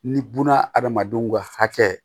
Ni buna adamadenw ka hakɛ